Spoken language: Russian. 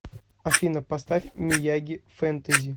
афина поставь мияги фэнтэзи